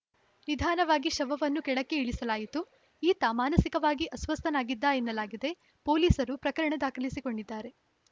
ನಿಧಾನವಾಗಿ ಶವವನ್ನು ಕೆಳಕ್ಕೆ ಇಳಿಸಲಾಯಿತು ಈತ ಮಾನಸಿಕವಾಗಿ ಅಸ್ವಸ್ಥನಾಗಿದ್ದ ಎನ್ನಲಾಗಿದೆ ಪೊಲೀಸರು ಪ್ರಕರಣ ದಾಖಲಿಸಿಕೊಂಡಿದ್ದಾರೆ